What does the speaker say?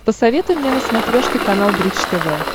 посоветуй мне на смотрешке канал бридж тв